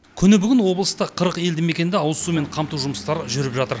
күні бүгін облыста қырық елді мекенді ауызсумен қамту жұмыстары жүріп жатыр